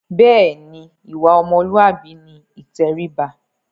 Bẹ́ẹ̀ ni, ìwà ọmọlúàbí ni ìtẹríba.